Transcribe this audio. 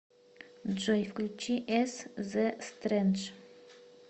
джой включи эс зэ стрэндж